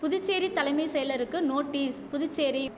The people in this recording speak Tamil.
புதுச்சேரி தலைமை செயலருக்கு நோட்டீஸ் புதுச்சேரி